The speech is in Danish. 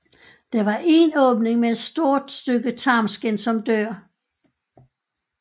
Der var én åbning med et stort stykke tarmskind som dør